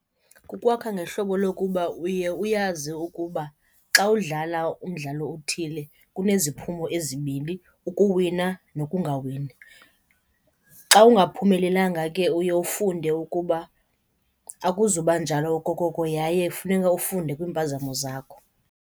Kukwakha ngehlobo lokuba uye uyazi ukuba xa udlala umdlalo othile kuneziphumo ezibini, ukuwina nokungawini. Xa ungaphumelelanga ke uye ufunde ukuba akuzuba njalo okokoko yaye funeka ufunde kwiimpazamo zakho.